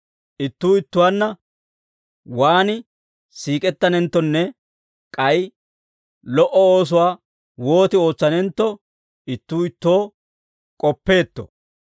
Ittuu ittuwaanna waan siik'ettanenttonne k'ay lo"o oosuwaa wooti ootsanentto, ittuu ittoo k'oppeetto.